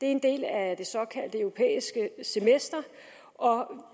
er en del af det såkaldte europæiske semester